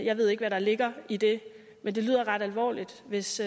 jeg ved ikke hvad der ligger i det men det lyder ret alvorligt hvis